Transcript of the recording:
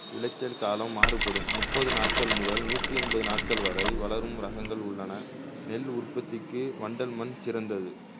விளைச்சல் காலம் மாறுபடும் முப்பது நாட்கள் முதல் நூத்தியைம்பது நாட்கள் வரை வளரும் ரகங்கள் உள்ளன நெல் உற்பத்திக்கு வண்டல் மண் சிறந்தது